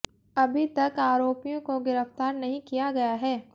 अभी तक आरोपियों को गिरफ्तार नहीं किया गया है